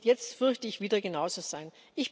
Und es wird jetzt, fürchte ich, wieder genauso sein.